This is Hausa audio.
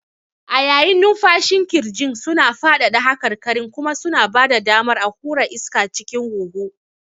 A yayin numfashin ƙirjin suna faɗaɗa haƙarƙarin kuma su ba da damar a hura iska cikin huhu.